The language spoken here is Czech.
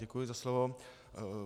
Děkuji za slovo.